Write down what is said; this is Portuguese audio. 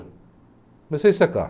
Comecei a secar.